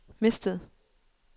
mistet